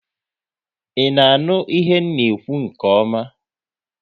I na-aṅụ ihe na ekwu nke ọma?